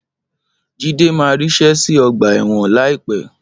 Jídé máa ríṣẹ́ see ọgbà ẹ̀wọ̀n láìpẹ́.